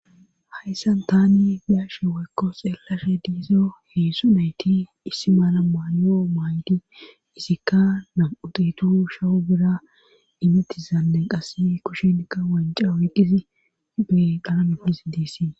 Hayssan tani bi'ashe woykko xeellashe diizo heedzdzu nayti issi maala maayo maayidi isikka nam7uditu shawu bira imitizanden qasi kushenkka wanca oyqqizi be qalametisi dessii.